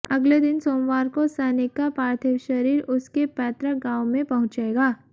अगले दिन सोमवार को सैनिक का पार्थिव शरीर उसके पैतृक गांव में पहुंचेगा